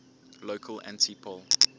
local anti poll